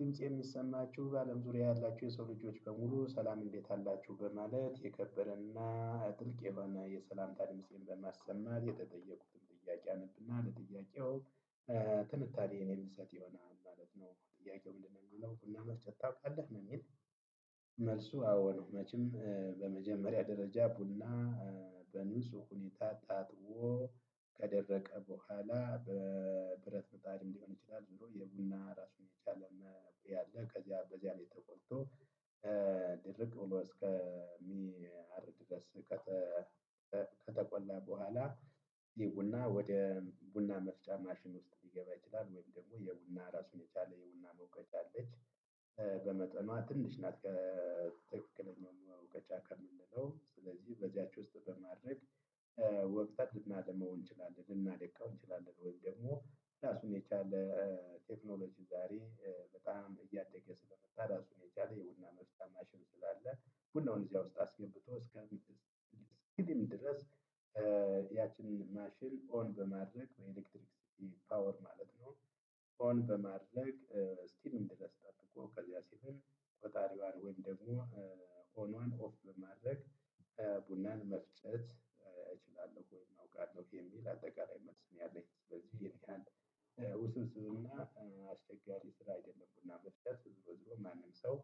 ድምፄ የሚሰማችሁ በአለም ዙሪያ ያላችሁ የሰው ልጆች በሙሉ ሰላም እንዴት አላችሁ በማለት የከበረና ጥልቅ የሆነ የሰላምታ ድምፄን በማሰማት የተጠየቁትን ጥያቄ አነብና ለጥያቄው ትንታኔ የምሰጥ ይሆናል ማለት ነው። ጥያቄው ምንድነው የሚለው ቡና መፍጨት ታውቃለህ ነውሚል? መልሱ አዎ ነው። መቼም በመጀመሪያ ደረጃ ቡና። በንጹህ ሁኔታ ታጥቦ ከደረቀ በኋላ በብረት ምጣድም ሊሆን ይችላል ዝሮ የቡና ራሱን የቻለ መቁያ አለ። ከዚያ በዚያ ላይ ተቆልቶ ድርቅ ብሎ እስከሚያር ድረስ። ከተቆላ በኋላ ይሄ ቡና ወደ ቡና መፍጫ ማሽን ውስጥ ሊገባ ይችላል። ወይም ደግሞ የቡና ራሱን የቻለ የቡና መውቀጫ አለች። በመጠኗ ትንሽ ናት ከትክክለኛው በውቀጫ ከምንለው ስለዚህ በዚያች ውስጥ በማድረግ ወቅጠን ልናልመው እንችላለን። ልናደቀው እንችላለን። ወይም ደግሞ ራሱን የቻለ ቴክኖሎጂ ዛሬ በጣም እያደገ ስለመጣራሱን የቻለ የቡና መፍጫ ማሽን ስላለ። ቡድናውን እዚያ ውስጥ አስገብቶ እስከ ስኪልም ድረስ። ያቺን ማሽን ኦን በማድረግ በኤሌክትሪክስቲ ፓወር ማለት ነው። ኦን በማድረግ ስቲልም ድረስ ጠብቆ ከዚያ ሲልም ቆጣሪዋን ወይም ደግሞ ኦኗን ኦፍ በማድረግ። ቡናን መፍጨት እችላለሁ ወይም አውቃለሁ የሚል አጠቃላይ መልስ ነው። ያለኝ ስለዚህ ይሄን ያህል ውስብስብ እና አስቸጋሪ ስራ አይደለም። ቡና መፍጨት ዝሮ ዝሮ ማንም ሰው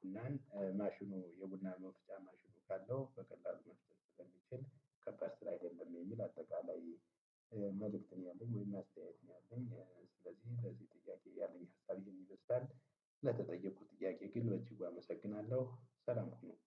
ቡናን ማሽኑ የቡና መፍጫ ማሽኑ ካለው በቀላሉ መፍጨት ስለሚችል ከባድ ስራ አይደለም። የሚል አጠቃላይ መልእክት ነው። ያለኝ ወይም አስተያየት ነው ያለኝ ስለዚህ ለዚህ ጥያቄ ያለኝ ሀሳብ ይሄን ይመስላል። ለተጠየቁት ጥያቄ ግን በጂጉ አመሰግናለሁ ሰላም ነው።